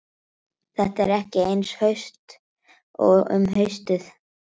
Þetta er ekki eins haust og um haustið.